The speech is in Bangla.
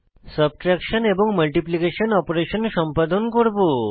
সাবট্রেকশন এবং মাল্টিপ্লিকেশন অপারেশন সম্পাদন করব